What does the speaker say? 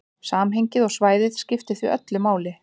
Samhengið og svæðið skiptir því öllu máli.